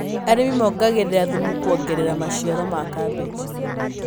Arĩmi mongagĩrĩra thumu kwongerera maciaro ma kabeci.